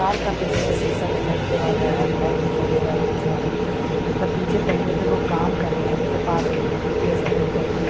Car का पीछे से सीसा दिखाई दे रहा है हेडलाइट दिखाई दे रहा पीछे वाला तथा पीछे पहियाँ पे वो काम कर रहे हैं उनके पास एक बाल्टी भी है सफ़ेद कलर की।